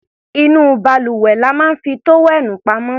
Inú balùwẹ̀ la máa ń fi tówẹ́ẹ̀nù pamọ́ sí.